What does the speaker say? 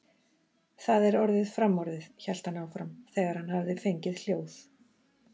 Það er orðið framorðið, hélt hann áfram, þegar hann hafði fengið hljóð.